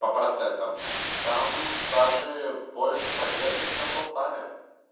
по процентам там даже больше поддержка чем полтаве